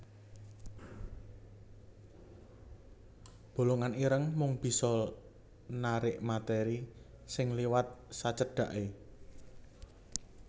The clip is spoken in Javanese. Bolongan ireng mung bisa narik materi sing liwat sacedhaké